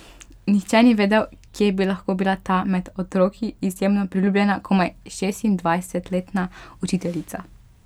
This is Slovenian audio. Nihče ni vedel, kje bi lahko bila ta med otroki izjemno priljubljena, komaj šestindvajsetletna učiteljica.